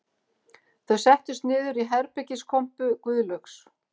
Þau settust niður í herbergiskompu Guðlaugs